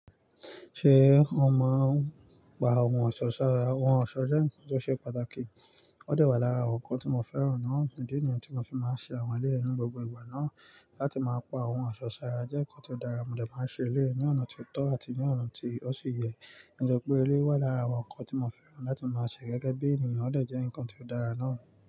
Ṣé ó máa ń pa ohun ọ̀ṣọ́ sára? Ohun ọ̀ṣọ́ jẹ́ nǹkan tó ṣe pàtàkì. Ó de wà lára àwọn nǹkan tí mo fẹ́ràn náà. Idi niyen tí mo fi máa ń ṣe àwọn eleyi ni gbogbo ìgbà náà, láti máa pa ohun ọ̀ṣọ́ sára jẹ́ nǹkan tó dára mo dè máa ń ṣe eleyi ní ọ̀nà ti ó tọ́ àti ní ọ̀nà tí ó ṣi yẹ. Nítorí pé eré wà lára àwọn nǹkan tí mo fẹ́ràn láti máa ṣe gẹ́gẹ́ bí ènìyàn, ó dè jẹ́ nǹkan tí ó dára náà.